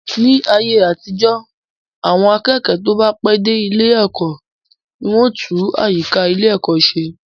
Ní ayé àtijọ́, àwọn akẹ́kọ̀ọ́ tó bá pẹ́ dé ilé ẹ̀kọ́ ni wọn ó tún àyíká ilé ẹ̀kọ́ se